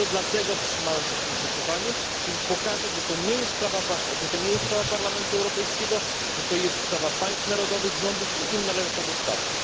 To dlatego wstrzymałem się w tym głosowaniu, żeby pokazać, że to nie jest sprawa Parlamentu Europejskiego, że to jest sprawa państw narodowych, rządów i im należy to zostawić.